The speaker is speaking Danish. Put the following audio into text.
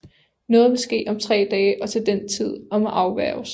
Noget vil ske om tre dage og til den tid og må afværgres